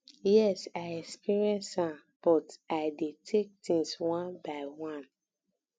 yes i experience am but i dey take things one by one